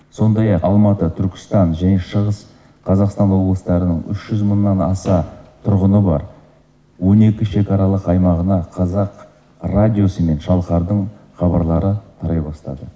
сондай ақ алматы түркістан және шығыс қазақстан облыстарының үш жүз мыңнан аса тұрғыны бар он екі шекаралық аймағына қазақ радиосы мен шалқардың хабарлары тарай бастады